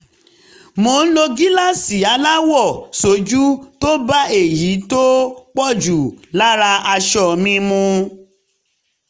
mo ń lo gíláàsì aláwọ̀ sójú tó bá èyí tó pọ̀ jù lára aṣọ mi mu